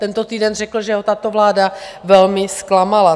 Tento týden řekl, že ho tato vláda velmi zklamala.